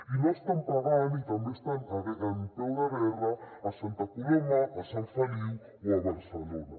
i no estan pagant i també estan en peu de guerra a santa coloma a sant feliu o a barcelona